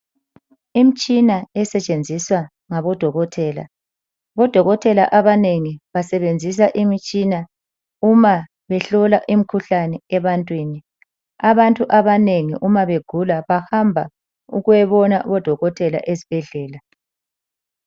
Imtshina esetshenziswa ngabodokotela. Odokotela abanengi basebenzisa imitshina uma behlola imkhuhlane abantwini. Abantu abanengi uma begula bahamba ukuyobona odokotela ezibhedlela.